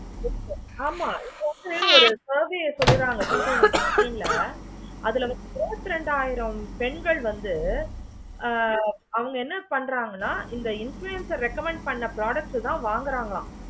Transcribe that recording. ஒன்னு இல்ல ஒரு survey சொல்லி தான் எனக்கு two thousand sixteen ல அதுல இருப்பது இரண்டாயிரம் பெண்கள் வந்து ஹம் அந்த என்ன பண்றாங்கன்னா இந்த influencer recommend panni product தான் வாங்குறாங்க.